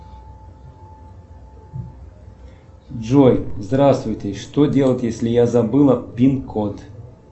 джой здравствуйте что делать если я забыла пин код